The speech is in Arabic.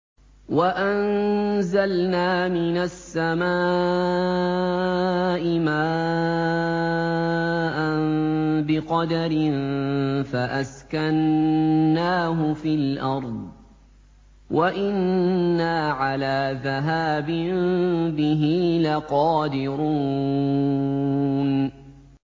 وَأَنزَلْنَا مِنَ السَّمَاءِ مَاءً بِقَدَرٍ فَأَسْكَنَّاهُ فِي الْأَرْضِ ۖ وَإِنَّا عَلَىٰ ذَهَابٍ بِهِ لَقَادِرُونَ